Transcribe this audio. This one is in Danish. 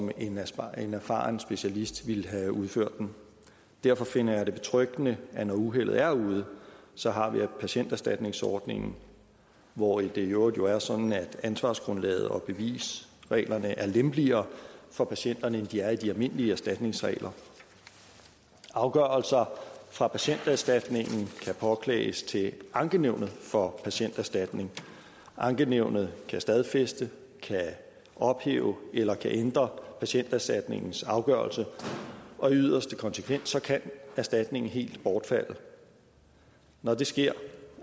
en erfaren erfaren specialist ville have udført den derfor finder jeg det betryggende at når uheldet er ude så har vi patienterstatningsordningen hvor det jo i øvrigt er sådan at ansvarsgrundlaget og bevisreglerne er lempeligere for patienterne end de er i de almindelige erstatningsregler afgørelser fra patienterstatningen kan påklages til ankenævnet for patienterstatningen ankenævnet kan stadfæste kan ophæve eller kan ændre patienterstatningens afgørelse og i yderste konsekvens kan erstatningen helt bortfalde når det sker